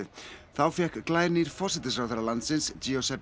þá fékk glænýr forsætisráðherra landsins